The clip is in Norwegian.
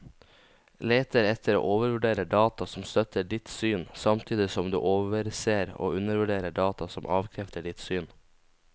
Leter etter og overvurderer data som støtter ditt syn, samtidig som du overser og undervurderer data som avkrefter ditt syn.